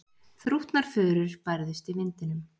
Þrútnar furur bærðust í vindinum.